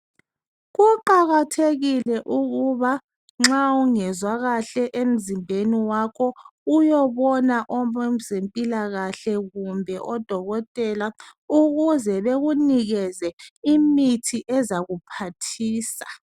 Kuqakathekile ukuba nxa ungezwa kahle emzimbeni wakho uyobona abezempilakahle kumbe odokotela ukuze bekunikeze imithi ezakuphathisa.